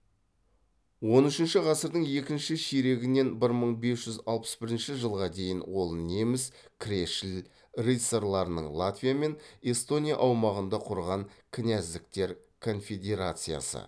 он үшінші ғасырдың екінші ширегінен бір мың бес жүз алпыс бірінші жылға дейін ол неміс кресшіл рыцарьларының латвия мен эстония аумағында құрған князьдіктер конфедерациясы